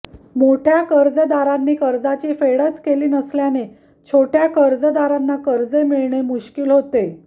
मोठय़ा कर्जदारांनी कर्जाची फेडच केली नसल्याने छोटय़ा कर्जदारांना कर्जे मिळणे मुश्कील होते